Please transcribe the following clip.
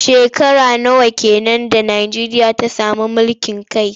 Shekara nawa ke nan da Najeriya ta sami mulkin kai?